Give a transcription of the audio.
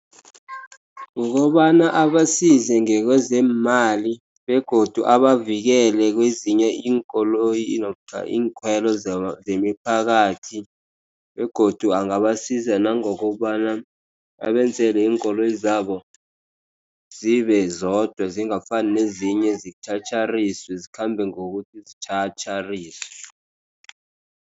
Kukobana abasize ngekwezeemali begodu abavikela kwezinye iinkoloyi namkha iinkhwelo zemiphakathi. Begodu angabasiza nangokobana abenzele iinkoloyi zabo zibe zodwa. Zingafani nezinye zitjhatjhariswe, zikhambe ngokuthi ziyatjhatjhariswe.